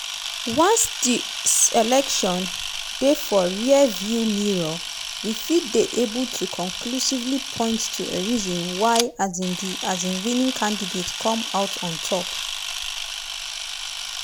once dis election dey for rear-view mirror we fit dey able to conclusively point to a reason why um di um winning candidate come out on top.